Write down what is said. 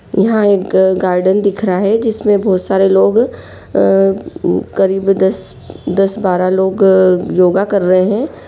यहां एक गार्डन दिख रहा है जिसमें बहुत सारे लोग करीब दस बारह लोग योगा कर रहे हैं।